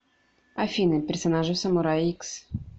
афина персонажи в самурай икс